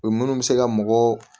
O ye minnu bɛ se ka mɔgɔ